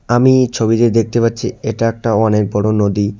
আমি এই ছবিতে দেখতে পাচ্ছি এটা একটা অনেক বড়ো নদী।